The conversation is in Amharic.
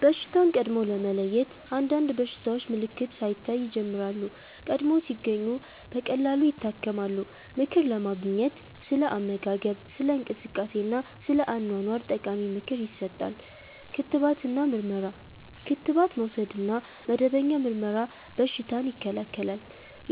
በሽታን ቀድሞ ለመለየት – አንዳንድ በሽታዎች ምልክት ሳይታይ ይጀምራሉ፤ ቀድሞ ሲገኙ ቀላል ይታከማሉ። ምክር ለማግኘት – ስለ አመጋገብ፣ ስለ እንቅስቃሴ እና ስለ አኗኗር ጠቃሚ ምክር ይሰጣል። ክትባት እና ምርመራ – ክትባት መውሰድ እና መደበኛ ምርመራ በሽታን ይከላከላል።